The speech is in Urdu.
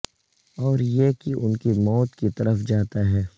اور یہ کہ ان کی موت کی طرف جاتا ہے